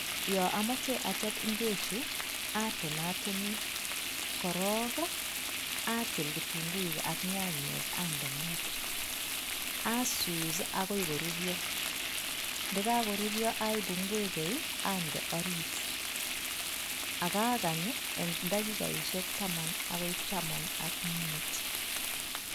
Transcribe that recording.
Yan amache achop ingwek Chu atonatini korong atil kitunguik AK nyanyek Akande Maa Asus agoi korurio nekakorurio ande orit akakany en dakiget Taman AK mut